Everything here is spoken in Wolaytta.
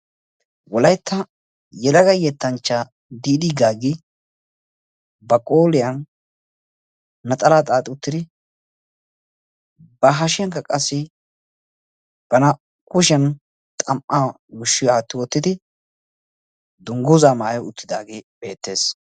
Wolaytta yeelaga yettanchcha Diidi Gaaggi ba qooriyaan naxalaa xaaxi uttidi ba hashshiyankka qassi ba naa"u kushiyan xam"aa yuushshi aatti wottidi dungguza maayi uttidaage bettees.